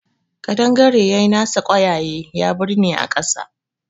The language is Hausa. Ƙadangare ya nasa ƙwayaye ya birne a ƙasa